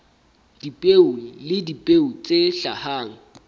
dipeo le dipeo tse hlahang